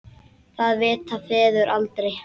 Það vita feður aldrei.